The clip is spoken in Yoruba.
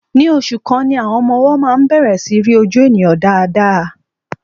Ní oṣù kan ni àwọn ọmọ-ọwọ máa ń bẹ̀rẹ̀ sí í rí ojú ènìyàn dáadáa.